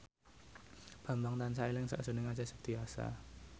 Bambang tansah eling sakjroning Acha Septriasa